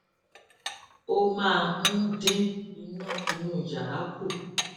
ó máa ń dín iná inú yàrá kù